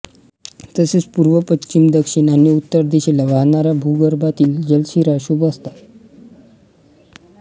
तसेच पूर्व पश्चिम दक्षिण आणि उत्तर दिशेला वाहणाऱ्या भूगर्भातील जलशिरा शुभ असतात